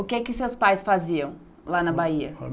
O que é que seus pais faziam lá na Bahia?